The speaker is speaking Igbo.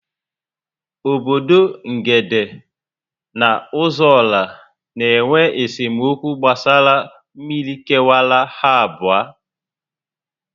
Obodo Ngede na Ozuọra n'enwe esemokwu gbasara mmiri kewara ha abụọ